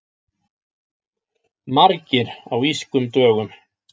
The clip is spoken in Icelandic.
Margir á Írskum dögum